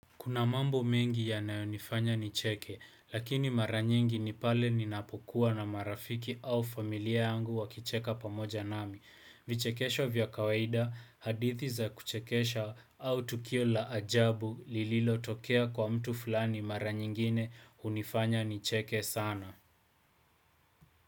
Kuna mambo mengi yanayonifanya nicheke, lakini mara nyingi ni pale ninapokuwa na marafiki au familia yangu wakicheka pamoja nami. Vichekesho vya kawaida, hadithi za kuchekesha au tukio la ajabu lililotokea kwa mtu fulani mara nyingine hunifanya nicheke sana.